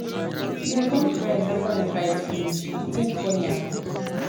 we become friends after we fight finish. the thing funny abi.